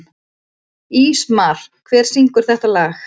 Ísmar, hver syngur þetta lag?